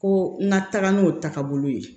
Ko n ka taga n'o taagabolo ye